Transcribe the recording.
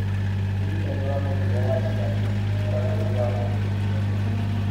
Ũrigitani wa mũrimũ wa Chilaiditi ũkoragwo wĩ wa mũndũ ũmwe ũmwe.